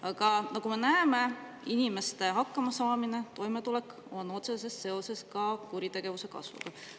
Aga nagu me näeme, inimeste hakkamasaamine ja toimetulek on otseses seoses ka kuritegevuse kasvuga.